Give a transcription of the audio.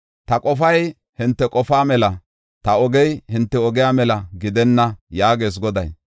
Ta qofay hinte qofaa mela, ta ogey hinte ogiya mela gidenna” yaagees Goday.